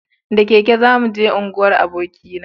da keke za mu je unguwar aboki na